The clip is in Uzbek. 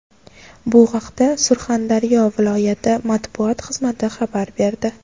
Bu haqda Surxondaryo viloyati matbuot xizmati xabar berdi .